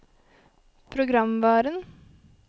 programvaren